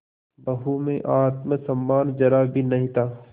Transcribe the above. बहू में आत्म सम्मान जरा भी नहीं था